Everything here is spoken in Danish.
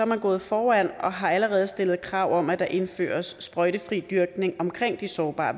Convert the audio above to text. man gået foran og har allerede stillet krav om at der indføres sprøjtefri dyrkning omkring de sårbare